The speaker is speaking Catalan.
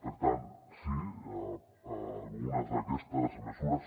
per tant sí a algunes d’aquestes mesures